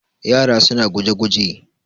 yara suna guje-guje